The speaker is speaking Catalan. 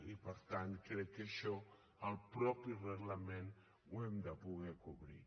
i per tant crec que això al mateix reglament ho hem de poder cobrir